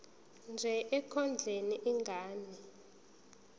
nje ekondleni ingane